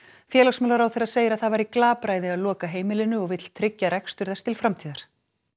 félagsmálaráðherra segir að það væri glapræði að loka heimilinu og vill tryggja rekstur þess til framtíðar